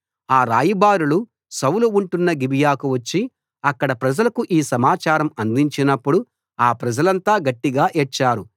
ఆ రాయబారులు సౌలు ఉంటున్న గిబియాకు వచ్చి అక్కడి ప్రజలకు ఆ సమాచారం అందించినప్పుడు ఆ ప్రజలంతా గట్టిగా ఏడ్చారు